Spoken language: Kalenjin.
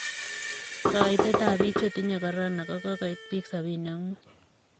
Koitetab bik che tinyei korona kokoit bik 75.